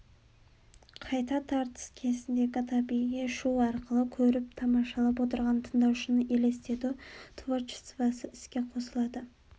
қайта тартыс кезіндегі табиғи шу арқылы көріп тамашалап отырған тыңдаушының елестету творчествосы іске қосылады